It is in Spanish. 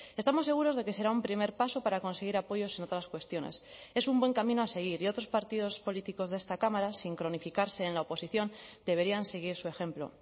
estamos seguros de que será un primer paso para conseguir apoyos en otras cuestiones es un buen camino a seguir y otros partidos políticos de esta cámara sin cronificarse en la oposición deberían seguir su ejemplo